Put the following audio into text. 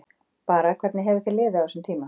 Bara, hvernig hefur þér liðið á þessum tíma?